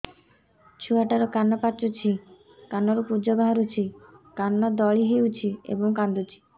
ଛୁଆ ଟା ର କାନ ପାଚୁଛି କାନରୁ ପୂଜ ବାହାରୁଛି କାନ ଦଳି ହେଉଛି ଏବଂ କାନ୍ଦୁଚି